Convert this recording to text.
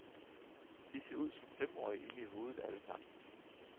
Vi ser ud som femårige inde i hovedet alle sammen.